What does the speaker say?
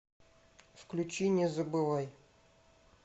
включи не забывай